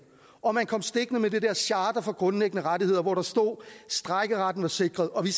og man kom stikkende med det der charter for grundlæggende rettigheder hvor der stod at strejkeretten var sikret og vi